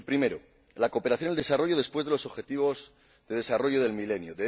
El primero, la cooperación al desarrollo después de los Objetivos de Desarrollo del Milenio.